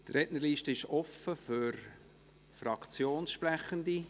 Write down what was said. Die Rednerliste ist offen für Fraktionssprechende.